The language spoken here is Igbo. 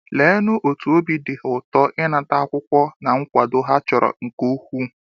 Leenụ otú obi dị ha ụtọ ịnata akwụkwọ na nkwado ha chọrọ nke ukwuu!